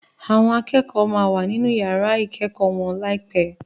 Àwọn akẹ́kọ̀ọ́ máa wà nínú yàrá ìkẹ́kọ̀ọ́ wọn láìpé